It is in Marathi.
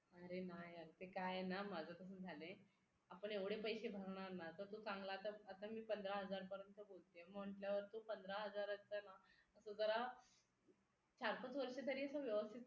अरे नाय यार ते काय येना माझ कसं झालंय आपण एवढे पैसे भरणारे ना तर तो चांगला तर आता मी पंधरा हजार पर्यंत बोलते म्हटल्यावर तो पंधरा चा ना आता जरा सहा सात वर्षे तरी व्यवस्थित